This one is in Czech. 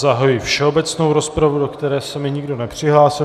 Zahajuji všeobecnou rozpravu, do které se mi nikdo nepřihlásil.